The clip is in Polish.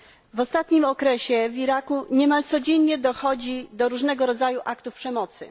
W ostatnim okresie w Iraku niemal codziennie dochodzi do różnego rodzaju aktów przemocy.